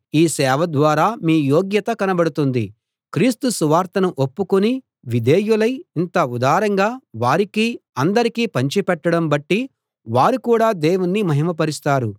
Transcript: ఈ సేవ ద్వారా మీ యోగ్యత కనబడుతుంది క్రీస్తు సువార్తను ఒప్పుకుని విధేయులై ఇంత ఉదారంగా వారికీ అందరికీ పంచిపెట్టడం బట్టి వారు కూడా దేవుణ్ణి మహిమ పరుస్తారు